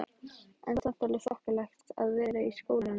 En samt alveg þokkalegt að vera í skólanum líka?